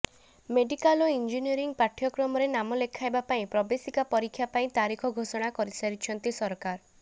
medical ଓ engineering ପାଠ୍ୟକ୍ରମରେ ନାମ ଲେଖାଇବା ପାଇଁ ପ୍ରବେଶିକା ପରୀକ୍ଷା ପାଇଁ ତାରିଖ ଘୋଷଣା କରିଛନ୍ତି ସରକାର